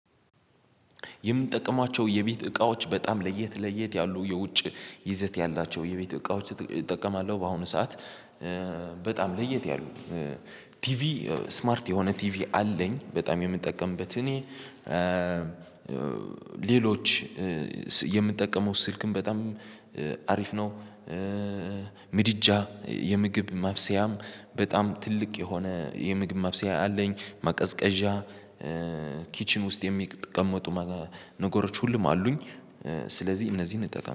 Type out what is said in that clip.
የምጠቅማቸው የቤት እቃዎች በጣም ለየት ለየት ያሉ የውጭ ይዘት ያላቸው የቤት እቃዎች እጠቀማለሁ በአሁኑ ሰዓት በጣም ለየት ያሉ ቲቪ ስማርት የሆነ ቲቪ አለኝ። በጣም የምጠቀምበት እኔ ሌሎች የምጠቀመው ስልክም በጣም አሪፍ ነው። ምድጃ የምግብ ማብሰያም በጣም ትልቅ የሆነ የምግብ ማብስያ አለኝ። ማቀዝቀዣ ኪችን ውስጥ የሚቀመጡ ነገሮች ሁሉም አሉኝ ስለዚህ እነዚህን እንጠቀም